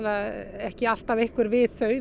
ekki alltaf einhver við þau